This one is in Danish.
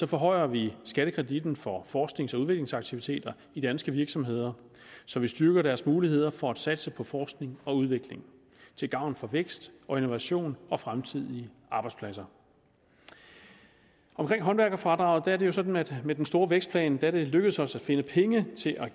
forhøjer vi skattekreditten for forsknings og udviklingsaktiviteter i danske virksomheder så vi styrker deres muligheder for at satse på forskning og udvikling til gavn for vækst og innovation og fremtidige arbejdspladser omkring håndværkerfradraget er det jo sådan at det med den store vækstplan er lykkedes os at finde penge til at